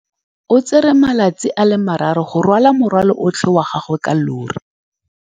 O tsere malatsi a le marraro go rwala morwalo otlhe wa gagwe ka llori.